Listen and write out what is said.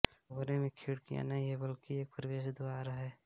मकबरे में खिड़कियां नहीं हैं बल्कि एक प्रवेश द्वार है